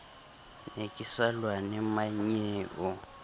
ne ke sa lwane mmannyeo